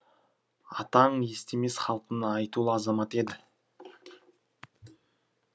атаң естемес халқының айтулы азаматы еді